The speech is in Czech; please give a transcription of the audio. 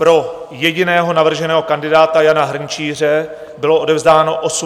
Pro jediného navrženého kandidáta Jana Hrnčíře bylo odevzdáno 81 hlasů.